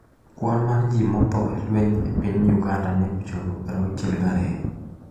Kwan mar ji motho e lweny e piny Uganda ne ochopo 62